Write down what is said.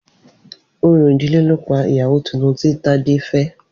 Orò ìdílé ló pa ìyàwó titun tí Tádé fẹ́.